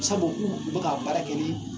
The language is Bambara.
Sabu k'u u bɛ k'a baara kɛ ni